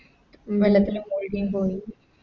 വെള്ളത്തില് പകുതിയും പോയി